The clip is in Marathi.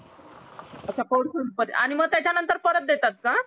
अच्छा आणि मग त्याच्या नतंर परत देतात का